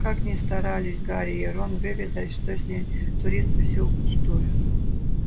как ни старались гарри и рон выведать что с ней творится всё впустую